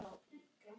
Níu slagir.